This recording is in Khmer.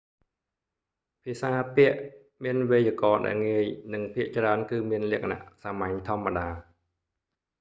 ភាសាពែរ្សមានវេយ្យាករណ៍ដែលងាយនិងភាគច្រើនគឺមានលក្ខណៈសាមញ្ញធម្មតា